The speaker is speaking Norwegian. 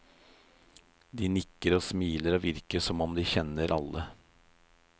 De nikker og smiler og virker som om de kjenner alle.